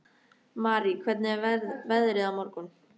Marý, hvernig er veðrið á morgun?